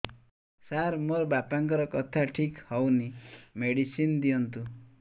ସାର ମୋର ବାପାଙ୍କର କଥା ଠିକ ହଉନି ମେଡିସିନ ଦିଅନ୍ତୁ